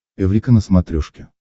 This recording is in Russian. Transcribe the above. эврика на смотрешке